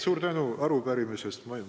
Suur tänu arupärimise eest!